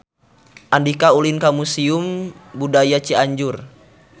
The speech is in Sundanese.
Andika ulin ka Museum Budaya Cianjur